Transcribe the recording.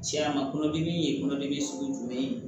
Tiɲɛna kɔnɔdimi ye kɔnɔdimi sugu jumɛn ye